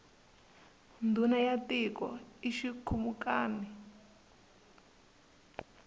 ndhuna ya tiko i xikhumukani